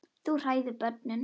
Þú hræðir börnin.